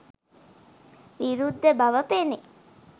විරුද්ධ බව පෙනේ.